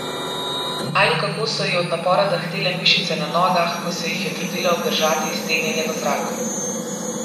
Ali kako so ji od napora drhtele mišice na nogah, ko se jih je trudila obdržati iztegnjene v zraku.